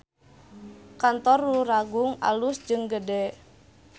Kantor Luragung alus jeung gede